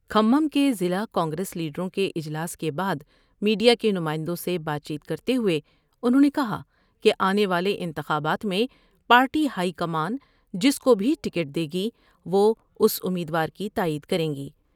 کھمم کے ضلع کانگریس لیڈروں کے اجلاس کے بعد میڈیا کے نمائندوں سے بات چیت کرتے ہوۓ انہوں نے کہا کہ آنے والے انتخابات میں پارٹی ہائی کمان جس کو بھی ٹکٹ دے گی وہ اس امید وار کی تائید کر یں گی ۔